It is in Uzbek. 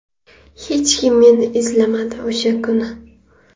Hech kim meni izlamadi o‘sha kuni.